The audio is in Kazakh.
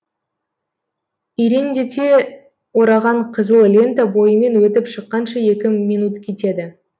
ирелеңдете ораған қызыл лента бойымен өтіп шыққанша екі минут кетеді